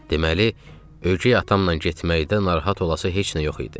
Deməli ögey atamla getməkdə narahat olası heç nə yox idi.